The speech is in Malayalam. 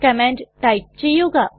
കമാൻഡ് ടൈപ്പ് ചെയ്യുക